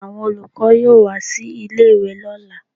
Àwọn olùkọ́ yóò wá sí ilé-ìwe lọ́là